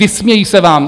Vysmějí se vám.